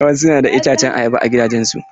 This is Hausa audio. Wasu na da itacen ayaba a gidajen su.